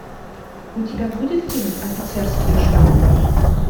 у тебя будет фильм офицерские жены